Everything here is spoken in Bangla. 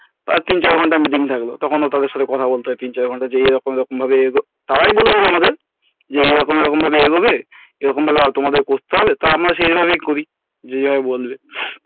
একদিন ছয় ঘন্টা meeting থাকবে তখন ও তাদের সাথে কথা বলতে হয় যে এইরকম এইরকমভাবে তারাই প্রথম আমাদের যে এরকম এরকম ভাবে এই হবে এরকম ভাবে তোমাদের করতে হবে তা আমরা সেই ভাবেই করি যেভাবে বলবে,